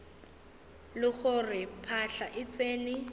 le gore phahla e tsene